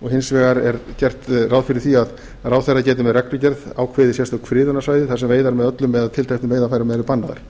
og hins vegar er gert ráð fyrir því að ráðherra geti með reglugerð ákveðið sérstök friðunarsvæði þar sem veiðar með öllum eða tilteknum veiðarfærum eru bannaðar